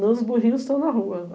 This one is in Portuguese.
Não, os burrinhos estão na rua.